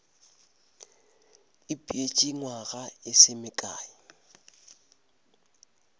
ipeetše nywaga e se mekae